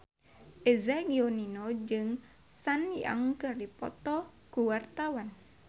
Eza Gionino jeung Sun Yang keur dipoto ku wartawan